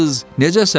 necəsən?